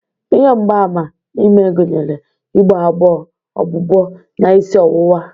Ihe mgbaàmà ime gụnyere igbo agbo, ọgbụgbọ, na isi ọwụwa.